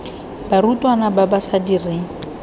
barutwana ba ba sa direng